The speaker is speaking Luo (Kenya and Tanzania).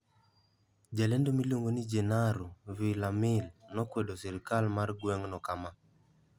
Jalendo miluongo ni Jenaro Villamil nokwedo sirkal mar gweng'no kama: